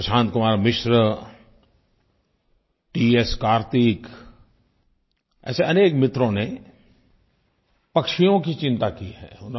श्रीमान प्रशांत कुमार मिश्र टीएस कार्तिक ऐसे अनेक मित्रों ने पक्षियों की चिंता की है